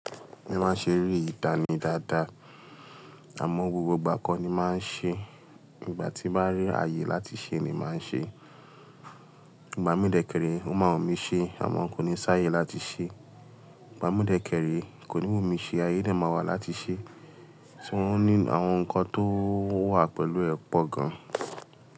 Mo máa ń ṣere idani ni dáadáa, àmọ́ gbogbo ìgbà kọ́ ni máa ń ṣe. Nígbà tí n bàá rí ààyè láti ṣe ni máa ń ṣe. Ìgbà mí dẹ́ kẹ̀re, ó máa wù mí ṣe àmọ́ kò ní ṣáyé láti ṣe. Ìgbà mí dẹ́kẹ̀re kò ní wù mí ṣe, ayé de máa wà láti ṣe. Ti wọ́n ní àwọn nǹkan tó wà pẹ̀lú ẹ pọ̀ gan.